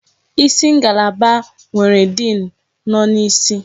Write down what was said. Isi ngalaba nwere diin nọ n'isi.